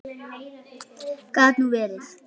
Gat nú verið!